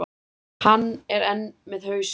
Hann er enn með hausinn.